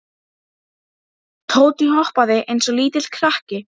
Tóti hoppaði eins og lítill krakki.